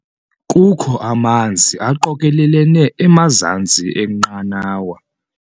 Kukho amanzi aqokelelene emazantsi enqanawa.